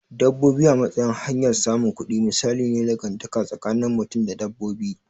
Dabbobi a matsayin hanyar samun kudi misali ne na dangantaka tsakinin mutum da dabbobi.